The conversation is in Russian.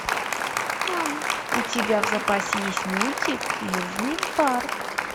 у тебя в запасе есть мультик южный парк